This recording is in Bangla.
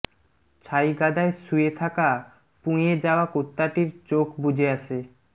ছাইগাদায় শুয়ে থাকা পুঁয়ে পাওয়া কুত্তাটির চোখ বুজে আসে